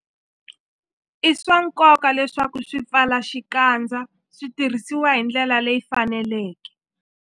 I swa nkoka leswaku swipfalaxikandza swi tirhisiwa hi ndlela leyi faneleke.